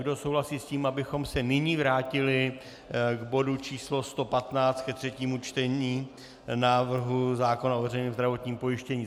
Kdo souhlasí s tím, abychom se nyní vrátili k bodu číslo 115, ke třetímu čtení návrhu zákona o veřejném zdravotním pojištění?